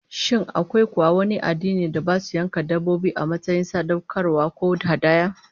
Shin akwai kuwa wani addinin da basu yanka dabbobi, a matsayin sadaukarwa ko hadaya?